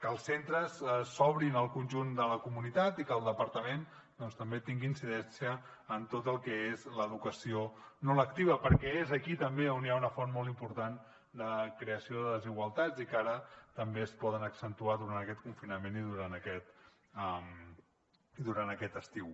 que els centres s’obrin al conjunt de la comunitat i que el departament doncs també tingui incidència en tot el que és l’educació no lectiva perquè és aquí també on hi ha una font molt important de creació de desigualtats i que ara també es poden accentuar durant aquest confinament i durant aquest estiu